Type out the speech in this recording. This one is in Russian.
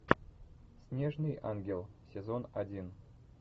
снежный ангел сезон один